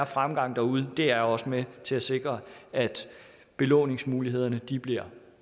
fremgang derude det er også med til at sikre at belåningsmulighederne bliver